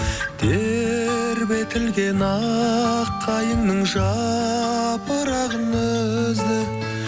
тербетілген аққайыңның жапырағын үзді